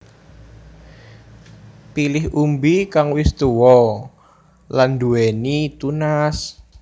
Pilih umbi kang wis tuwa lan nduwéni tunas